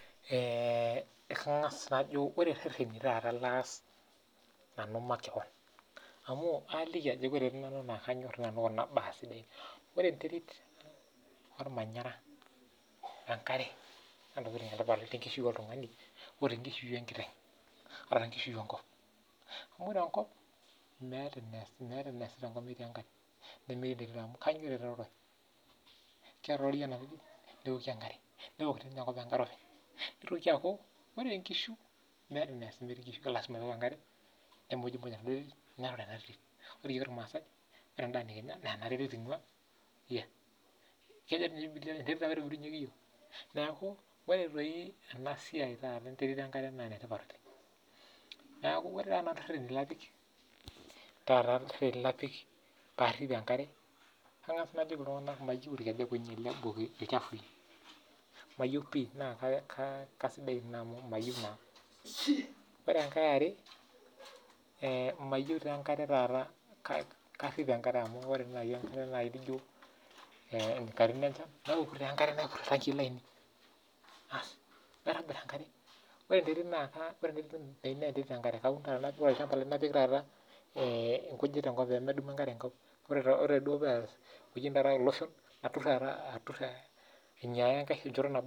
Ore irereni langa nanu aas makewon amu ore enterit tenebo wenkare naa inetipat tenkishui oltungani, enetipet sii enkare amuu meeta eneesi metii enkare katukul, ore siininye enterit naa enetipat oleng amuu ore endaa nikinya naa ena terit ingua . inetipat kuna tokiting pokira amuu kibunga ninche okirare amuu meeta eniaas metii enkae naa kibungi sii peemekuroo